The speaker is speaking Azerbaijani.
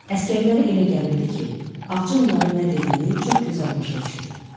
Əsgərlərə elə gəlirdi ki, ağca onların nə dediyini çox gözəl başa düşür.